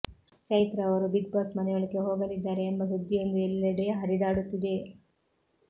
ಚೈತ್ರಾ ಅವರು Bigg Boss ಮನೆಯೊಳಕ್ಕೆ ಹೋಗಲಿದ್ದಾರೆ ಎಂಬ ಸುದ್ದಿಯೊಂದು ಎಲ್ಲೆಡೆ ಹರಿದಾಡುತ್ತಿದೆ